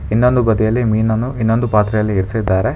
ಇನ್ನೊಂದು ಬದಿಯಲ್ಲಿ ಮೀನನ್ನು ಇನ್ನೊಂದು ಪಾತ್ರೆಯಲ್ಲಿ ಇರಿಸಿದ್ದಾರೆ.